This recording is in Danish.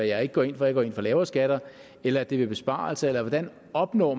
jeg ikke går ind for jeg går ind for lavere skatter eller er det ved besparelser hvordan man opnår